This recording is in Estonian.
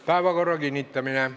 Päevakorra kinnitamine.